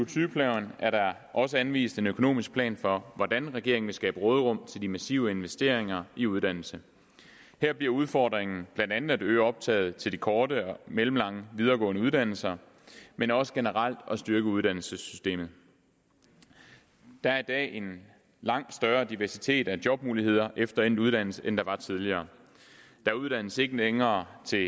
tyve plan er der også anvist en økonomisk plan for hvordan regeringen vil skabe råderum til de massive investeringer i uddannelse her bliver udfordringen blandt andet at øge optaget til de korte og mellemlange videregående uddannelser men også generelt at styrke uddannelsessystemet der er i dag en langt større diversitet af jobmuligheder efter endt uddannelse end der var tidligere der uddannes ikke længere til